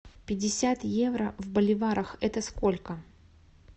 пятьдесят евро в боливарах это сколько